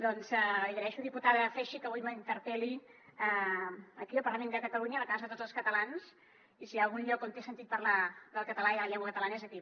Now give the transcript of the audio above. doncs li agraeixo diputada freixa que avui m’interpel·li aquí al parlament de catalunya la casa de tots els catalans i si hi ha algun lloc on té sentit parlar del català i de la llengua catalana és aquí